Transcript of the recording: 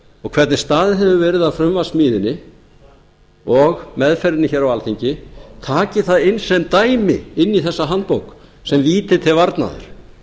og hvernig staðið hefur verið að frumvarpssmíðinni og meðferðinni hér á alþingi taki það inn sem dæmi inn í þessa handbók sem víti til varnaðar